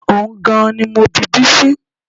Ohun gan-an ni mo bi Bísí